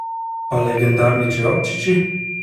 Pa legendarni čevapčiči?